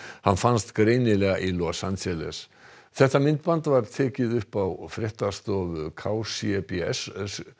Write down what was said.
hann fannst greinilega í Los Angeles þetta myndband var tekið upp á fréttastofu k c b s